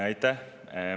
Aitäh!